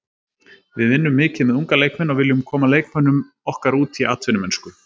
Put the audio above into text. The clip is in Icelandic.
Við vinnum mikið með unga leikmenn og viljum koma leikmönnum okkar út í atvinnumennsku.